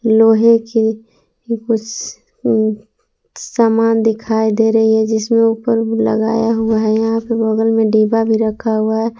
लोहे की कुछ सामान दिखाई दे रही है जिसमें ऊपर लगाया हुआ है यहाँ पे बगल मे डिब्बा भी रखा हुआ है।